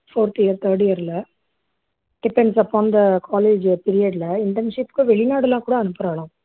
fourth year third year ல depends upon the college period internship க்கு வெளிநாடெல்லாம் கூட அனுப்புராலாம்